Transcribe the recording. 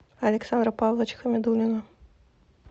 александра павловича хамидуллина